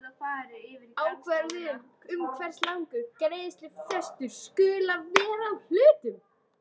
ákvörðun um hversu langur greiðslufrestur skuli vera á hlutum.